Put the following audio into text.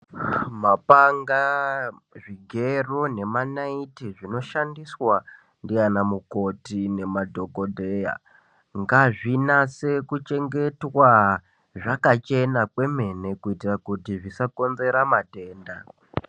Mapanga zvigero nemanaiti zvinoshandiswa ndiana mukoti ngazvinyase kuchengetwa zvakachena kwemene kuitira kuti zvisakonzrra matenda.